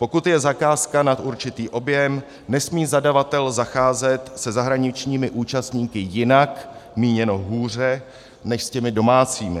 Pokud je zakázka nad určitý objem, nesmí zadavatel zacházet se zahraničními účastníky jinak - míněno hůře - než s těmi domácími.